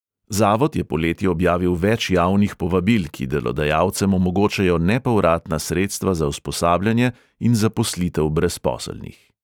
Zavod je poleti objavil več javnih povabil, ki delodajalcem omogočajo nepovratna sredstva za usposabljanje in zaposlitev brezposelnih.